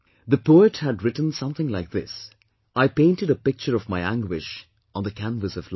The poet had written something like this "I painted a picture of my anguish on the canvas of life